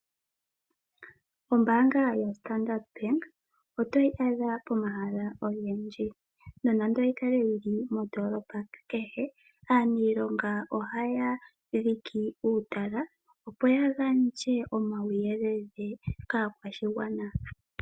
Ombaanga ya Standard Bank oto yi adha pomahala ogendji nonando oyi kale yili moondolopa kehe aanilonga ohaya dhike uutala opo ya gandje omawuyelele kaakwashigwana.